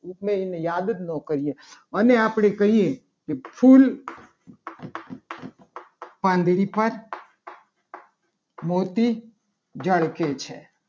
ઉપમેયને યાદ જ ન કરીએ. અને આપણે કહીએ. કે ફુલ પાંદડે થાય. મોતી ઝળકે છે કોણ ઝળકે છે.